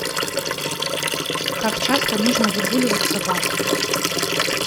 как часто нужно выгуливать собаку